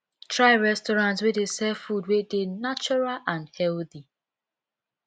try restaurant wey dey sell food wey dey natural and healthy